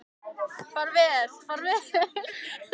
Far vel, far vel.